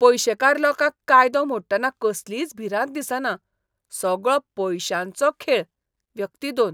पयशेकार लोकांक कायदो मोडटना कसलीच भिरांत दिसना. सगळो पयशांचो खेळ! व्यक्ती दोन